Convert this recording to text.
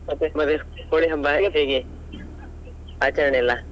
ಹೋಳಿ ಹಬ್ಬ ಎಲ್ಲ ಹೇಗೆ ಆಚರಣೆಯೆಲ್ಲ?